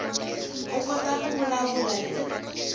u kota ku vulavula hi